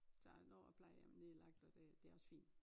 Så nu har plejehjemmet lige lagt og det det også fint